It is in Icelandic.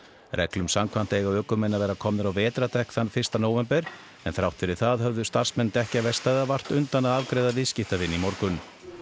reglum samkvæmt eiga ökumenn að vera komnir á vetrardekk þann fyrsta nóvember en þrátt fyrir það höfðu starfsmenn dekkjaverkstæða vart undan að afgreiða viðskiptavini í morgun